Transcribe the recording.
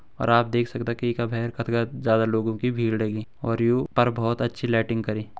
और आप देख सक्दा की येका भैर कदका ज्यादा लोगों की भीड़ लगीं और यू पर बहोत अच्छी लाइटिंग करीं ।